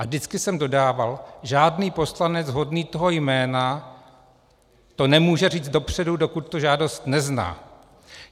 A vždycky jsem dodával: žádný poslanec hodný toho jména to nemůže říct dopředu, dokud tu žádost nezná.